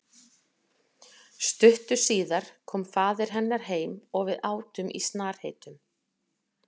Stuttu síðar kom faðir hennar heim og við átum í snarheitum.